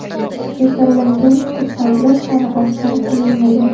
Kasallangan kursantlar soni oshkor qilinmagan.